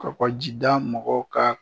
Kɔkɔjida mɔgɔw ka.